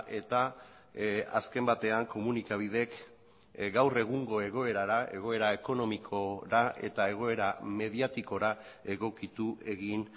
eta azken batean komunikabideek gaur egungo egoerara egoera ekonomikora eta egoera mediatikora egokitu egin